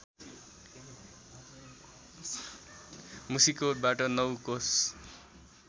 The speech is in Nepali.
मुसिकोटबाट ९ कोस